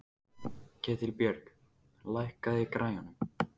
Ketilbjörg, lækkaðu í græjunum.